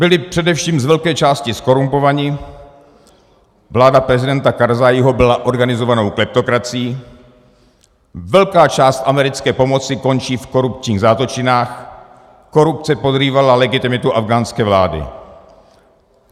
Byli především z velké části zkorumpovaní, vláda prezidenta Karzáího byla organizovanou kleptokracií, velká část americké pomoci končí v korupčních zátočinách, korupce podrývala legitimitu afghánské vlády.